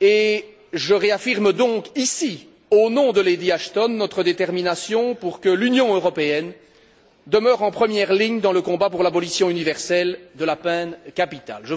et je réaffirme donc ici au nom de Lady Ashton notre détermination pour que l'Union européenne demeure en première ligne dans le combat pour l'abolition universelle de la peine capitale